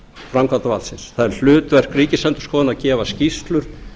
framkvæmdarvaldsins það er hlutverk ríkisendurskoðunar að gefa skýrslur